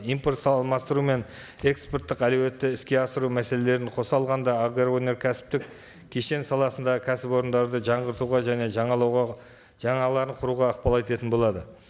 импорт алмастыру мен экспорттық әлеуетті іске асыру мәселелерін қоса алғанда агроөнеркәсіптік кешен саласындағы кәсіпорындарды жаңғыртуға және жаңалауға жаңаларын құруға ықпал ететін болады